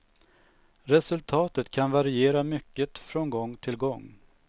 Resultatet kan variera mycket från gång till gång.